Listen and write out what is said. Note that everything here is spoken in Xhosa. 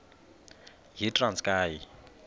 yitranskayi